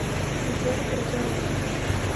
гузель прозаровская